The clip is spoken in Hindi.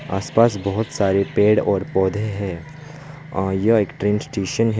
आस पास बहोत सारे पेड़ और पौधे हैं और यह एक ट्रेन स्टेशन है।